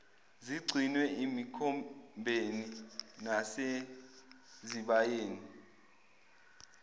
zigcinwe emikhombeni nasezibayeni